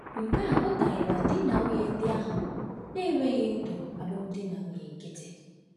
Nke a apụtaghị na di na nwunye ndị ahụ na-enweghị ndụ alụmdi na nwunye nkịtị.